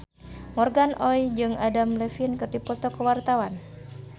Morgan Oey jeung Adam Levine keur dipoto ku wartawan